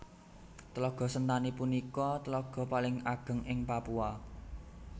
Tlaga Sentani punika tlaga paling ageng ing Papua